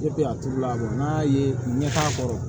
a turula n'a ye ɲɛ k'a kɔrɔ